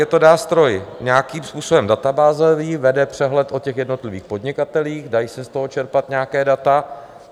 Je to nástroj nějakým způsobem databázový, vede přehled o těch jednotlivých podnikatelích, dají se z toho čerpat nějaká data.